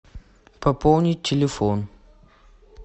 пополнить телефон